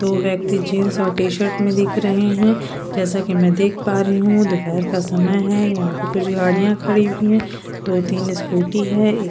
दो व्यक्ति जींस और टी शर्ट में दिख रहे हैं जैसा कि मैं देख पा रही हूं दोपहर का समय है यहां पे कुछ गाड़ियां खड़ी हुई है दो तीन स्कूटी है ये--